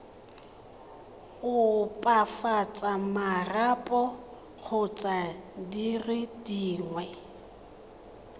opafatsa marapo kgotsa dire dingwe